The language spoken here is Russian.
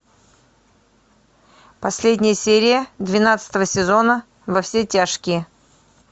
последняя серия двенадцатого сезона во все тяжкие